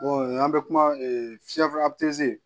an bɛ kuma